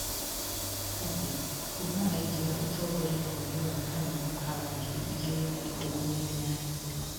Abiy kuuma aingĩra ũtongoria mweri wa Kana mwaka wa ngiri igĩri na ikũmi na inyanya.